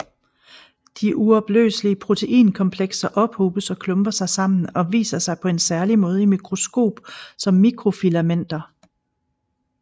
De uopløselige proteinkomplekser ophobes og klumper sig sammen og viser sig på en særlig måde i mikroskop som mikrofilamenter